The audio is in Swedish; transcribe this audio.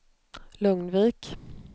Lugnvik